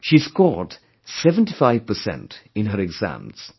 She scored 75 percent in her exams